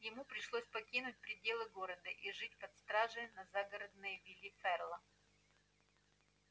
ему пришлось покинуть пределы города и жить под стражей на загородной вилле ферла